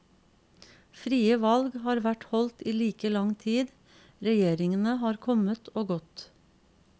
Frie valg har vært holdt i like lang tid, regjeringene kommet og gått.